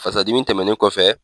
Fasadimi tɛmɛnen kɔfɛ